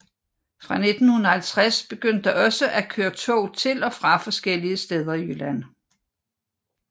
Fra 1950 begyndte der også at køre tog til og fra forskellige steder i Jylland